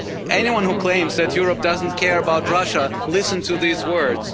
Anyone who claims that Europe doesn't care about Russia, listen to these words.